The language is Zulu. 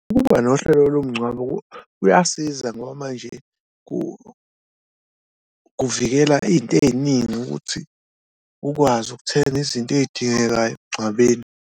Ukuba nohlelo lomngcwabo kuyasiza ngoba manje kuvikela iy'nto ey'ningi ukuthi ukwazi ukuthenga izinto ey'dingekayo emngcwabeni.